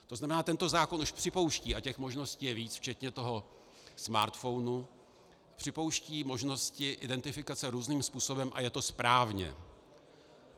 To znamená, tento zákon už připouští, a těch možností je víc včetně toho smartphonu, připouští možnosti identifikace různým způsobem a je to správně.